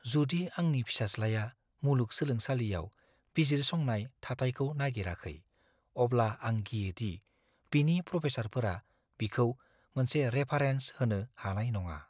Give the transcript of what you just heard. जुदि आंनि फिसाज्लाया मुलुग-सोलोंसालियाव बिजिरसंनाय थाथायखौ नागिराखै, अब्ला आं गियो दि बिनि प्रफेसारफोरा बिखौ मोनसे रेफारेन्स होनो हानाय नङा।